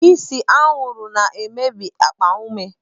Ise anwụrụ na-emebi akpa ume.